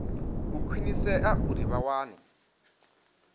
u khwinisea uri vha wane